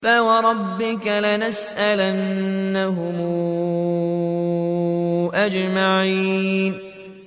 فَوَرَبِّكَ لَنَسْأَلَنَّهُمْ أَجْمَعِينَ